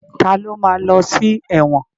Ta ló ma lọ sí ẹ̀wọ̀n?